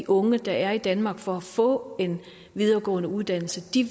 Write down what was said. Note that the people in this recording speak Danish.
unge der er i danmark for at få en videregående uddannelse